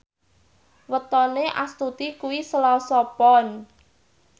wetone Astuti kuwi Selasa Pon